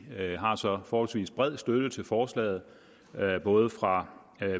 at vi har en så forholdsvis bred støtte til forslaget både fra